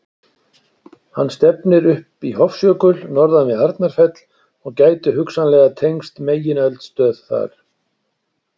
Hann stefnir upp í Hofsjökul norðan við Arnarfell og gæti hugsanlega tengst megineldstöð þar.